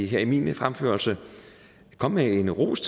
her i min fremførelse komme med en ros